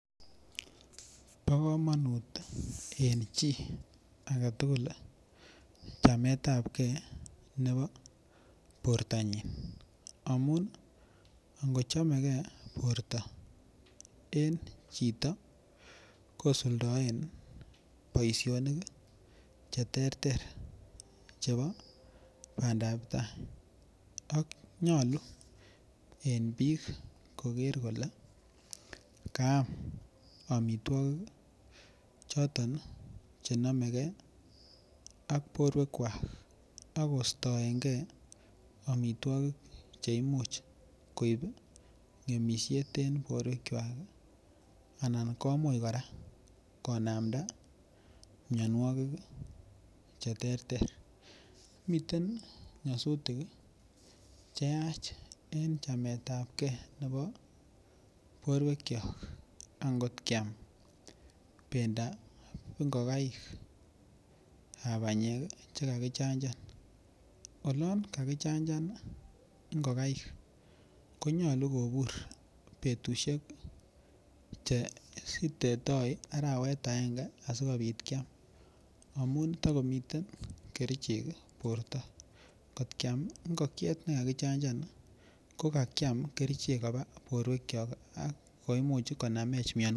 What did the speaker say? Bo komonut en chi agetugul chametab gee nebo bortonyin amun ngo chomegee borto en chito kosuldoen boisionik che terter chebo bandap tai ak nyoluu en biik kole kaam omitwokik choton che nomegee ak borwekwak ak kostoengee omitwokik che imuch ngemisiet en borwekwak anan komuch koraa konamda mionwokik ii che terter. Miten nyosutik ii che yach en chametab gee nebo borwekyok akot kyam bendap ngogaik ab banyek che kakichachan olon kakichachan ii ngogaik konyoluu kobur betushek che sirtetoi arawet angenge asikopit Kyam amun tokomiten kerichek borto. Ngot kyam ngogiet ne kakichachan ko kakiam kerichek koba borwekyok ak koimuch konamech mion